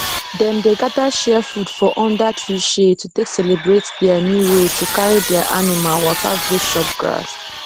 dem dey gather share food for under tree shade to take celebrate dia new road to carry dia animal waka go chop grass